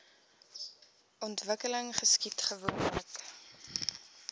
ontwikkeling geskied gewoonlik